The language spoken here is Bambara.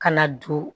Ka na don